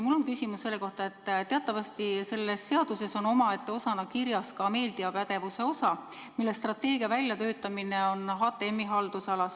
Mul on küsimus selle kohta, et teatavasti selles seaduseelnõus on omaette peatükina käsitletud ka meediapädevust, mille strateegia väljatöötamine on HTM-i haldusalas.